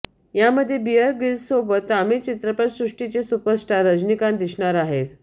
यामध्ये बिअर ग्रिल्ससोबत तामिळ चित्रपटसृष्टीचे सुपरस्टार रजनीकांत दिसणार आहेत